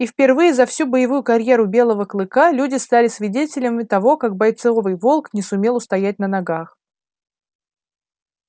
и впервые за всю боевую карьеру белого клыка люди стали свидетелями того как бойцовый волк не сумел устоять на ногах